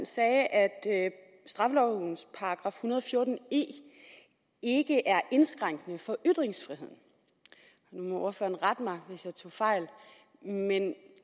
sagde at straffelovens § en hundrede og fjorten e ikke er indskrænkende for ytringsfriheden nu må ordføreren rette mig hvis jeg tager fejl men er det